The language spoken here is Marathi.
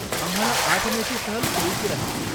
आम्हाला आठ मेची सहल सोयीची राहील.